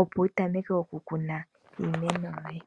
opo wu tameke okukuna iimeno yoye.